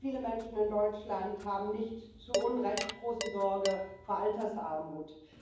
Viele Menschen in Deutschland haben nicht zu Unrecht große Sorge vor Altersarmut.